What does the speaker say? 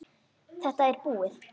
Þetta er búið.